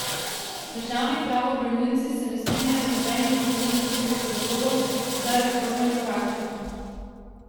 Državni pravobranilci se ne strinjajo z nobenim od Klemenčičevih razlogov za reformne korake.